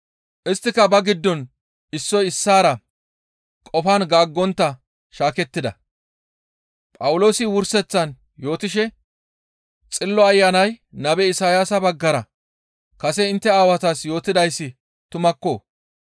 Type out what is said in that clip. Isttika ba giddon issoy issaara qofan gaaggontta shaakettida; Phawuloosi wurseththan yootishe, «Xillo Ayanay nabe Isayaasa baggara kase intte aawatas yootidayssi tumakko!